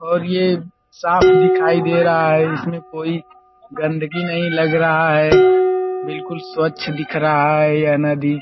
और ये साफ दिखाई दे रहा है। इसमें कोई गन्दगी नहीं लग रहा है। बिल्कुल स्वछ दिख रहा है यह नदी।